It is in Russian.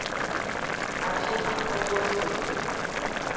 афина о господи